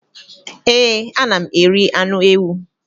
Ee, ana m eri anụ ewu.